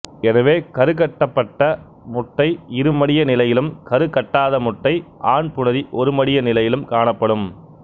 எனவே கருக்கட்டப்பட்ட முட்டை இருமடிய நிலையிலும் கருக்கட்டாத முட்டை ஆண் புணரி ஒருமடிய நிலையிலும் காணப்படும்